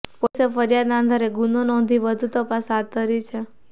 પોલીસે ફરિયાદના આધારે ગુનો નોંધી વધુ તપાસ હાથ ધરી છે